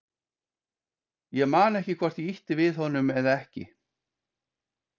Ég man ekki hvort ég ýtti við honum eða ekki.